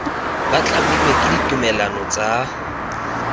ba tlamilwe ke ditumalano tsa